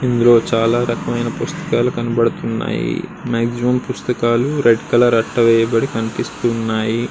ఇందులో చాలా రకములైన పుస్తకాలు కనబడుతున్నాయి మాక్సిమం పుస్తకాలు రెడ్ కలరు అట్ట వేయబడి కనిపిస్తున్నాయి.